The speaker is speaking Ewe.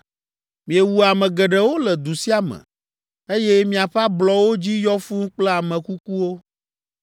Miewu ame geɖewo le du sia me, eye miaƒe ablɔwo dzi yɔ fũu kple ame kukuwo.